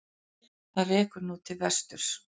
Það rekur nú til vesturs.